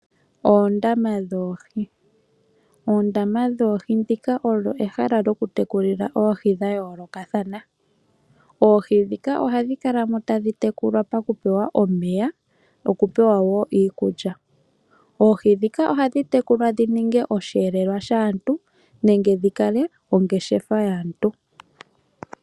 Oondama dhoohi. Oondama dhoohi ndhika olyo ehala lyoku tekulila oohi dhayoolokathana. Oohi ndhika ohadhi kala mo tadhi pewa omeya noku pewa iikulya. Oohi ndhika ohadhi kala mo tadhi tekulwa dhi ninge ongeshefa yaantu.